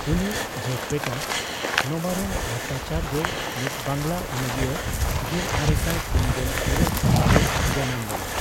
ᱩᱱᱤ ᱤᱡ ᱡᱷᱮᱴ ᱵᱮᱴᱟ ᱱᱚᱵᱟᱨᱩᱱ ᱵᱷᱚᱴᱴᱟᱪᱟᱨᱡᱚ, ᱢᱤᱫ ᱵᱟᱝᱜᱽᱞᱟ ᱚᱱᱚᱞᱤᱭᱟᱹ ᱜᱮᱞᱟᱨᱮᱥᱟᱭ ᱯᱩᱱᱜᱮᱞ ᱤᱨᱟᱹᱞ ᱥᱟᱦᱤᱛ ᱨᱮᱭ ᱡᱟᱱᱟᱢ ᱞᱮᱱᱟ ᱾